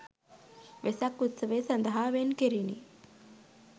වෙසක් උත්සවය සඳහා වෙන් කෙරිණ